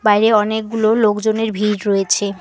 বাইরে অনেকগুলো লোকজনের ভিড় রয়েছে।